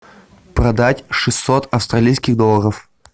продать шестьсот австралийских долларов